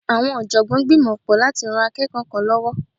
Awọn ọ̀jọ̀gbọ́n gbìmọ pọ látí rán akẹ́kọ̀ọ́ kan lọ́wọ́.